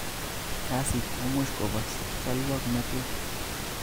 Kasit komuch Kobos cholwoknatet